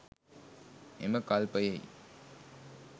එම කල්පයෙහි